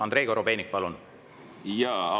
Andrei Korobeinik, palun!